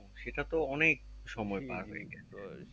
সেটা তো অনেক সময় গেছে